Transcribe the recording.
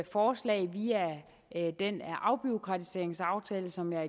forslag via den afbureaukratiseringsaftale som jeg